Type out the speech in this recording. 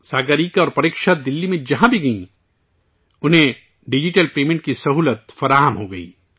ساگریکا اور پریکشا دہلی میں جہاں بھی گئیں، انہیں ڈیجیٹل پیمنٹ کی سہولت دستیاب ہو گئی